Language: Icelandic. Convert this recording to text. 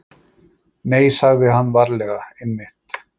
Nei, sagði hann varlega, einmitt.